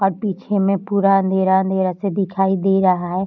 और पीछे में पूरा अँधेरा-अँधेरा से दिखाई दे रहा है।